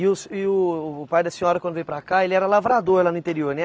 E o se e o o pai da senhora quando veio para cá, ele era lavrador lá no interior, né?